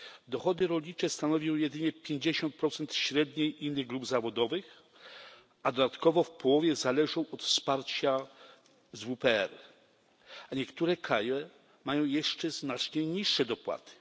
Dochody rolnicze stanowią jedynie 50 średniej innych grup zawodowych, a dodatkowo w połowie zależą od wsparcia z WPR, a niektóre kraje mają jeszcze znacznie niższe dopłaty.